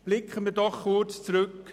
Blicken wir kurz zurück: